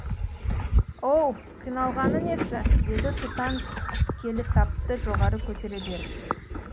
оу қиналғаны несі деді тұтан келісапты жоғары көтере беріп